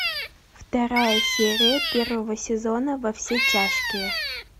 вторая серия первого сезона во все тяжкие